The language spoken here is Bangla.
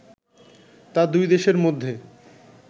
তা দুই দেশের মধ্যে